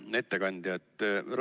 Hea ettekandja!